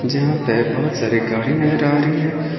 जहां पे बहुत सारी गाड़ी नजर आ रही है।